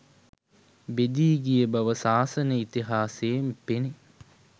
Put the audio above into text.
බෙදී ගිය බව ශාසන ඉතිහාසයෙන් පෙනේ.